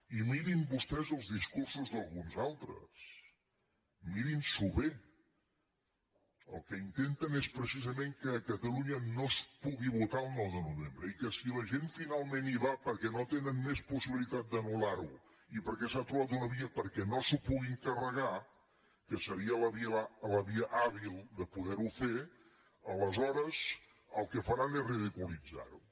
i mirin vostès els discursos d’alguns altres mirin s’ho bé el que intenten és precisament que a catalunya no es pugui votar el nou de novembre i que si la gent finalment hi va perquè no tenen més possibilitat d’anul·s’ha trobat una via perquè no s’ho puguin carregar que seria la via hàbil de poder ho fer aleshores el que faran és ridiculitzar ho